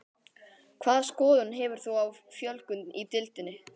Hvaða skoðun hefur þú á fjölgun í deildinni?